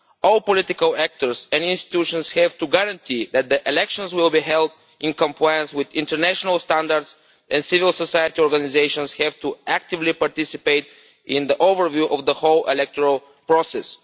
All political actors and institutions have to guarantee that the elections will be held in compliance with international standards, and civil society organisations have to participate actively in the overview of the whole electoral process.